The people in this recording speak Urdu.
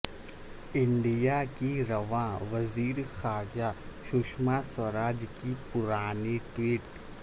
انڈیا کی رواں وزیر خارجہ ششما سوراج کی پرانی ٹویٹ